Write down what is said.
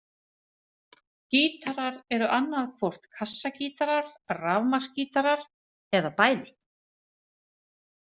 Gítarar eru annað hvort kassagítarar, rafmagnsgítarar eða bæði.